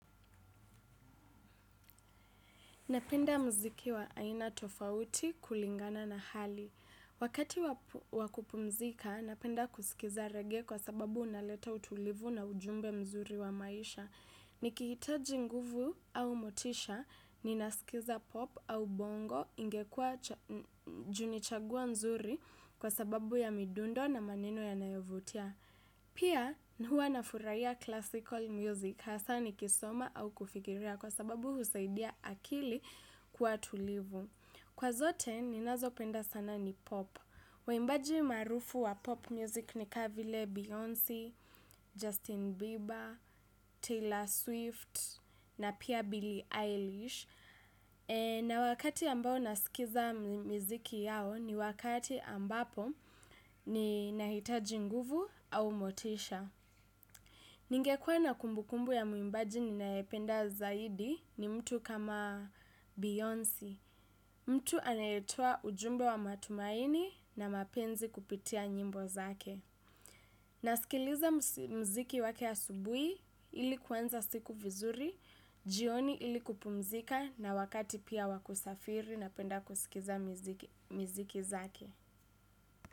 Napenda mziki wa aina tofauti kulingana na hali. Wakati wa kupumzika, napenda kusikiza rege kwa sababu unaleta utulivu na ujumbe mzuri wa maisha. Niki hitaji nguvu au motisha, ninasikiza pop au bongo ingekua ju nichagua nzuri kwa sababu ya midundo na maneno ya nayovutia. Pia hua nafurahia classical music hasa nikisoma au kufikiria kwa sababu husaidia akili kua tulivu. Kwa zote ninazo penda sana ni pop. Waimbaji marufu wa pop music ni kavile Beyoncé, Justin Bieber, Taylor Swift na pia Billie Eilish. Na wakati ambao nasikiza miziki yao ni wakati ambapo ninahitaji nguvu au motisha. Ningekua na kumbukumbu ya muimbaji ninaependa zaidi ni mtu kama Beyoncé. Mtu anayetoa ujumbe wa matumaini na mapenzi kupitia nyimbo zake. Nasikiliza mziki wake asubuhi ili kuanza siku vizuri, jioni ili kupumzika na wakati pia wakusafiri na penda kusikiza mziki zake.